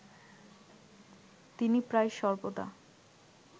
তিনি প্রায় সর্বদা